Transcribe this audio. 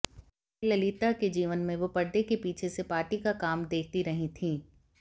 जयललिता के जीवन में वो परदे के पीछे से पार्टी का काम देखती रही थी